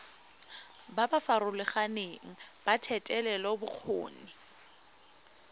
ba ba farologaneng ba thetelelobokgoni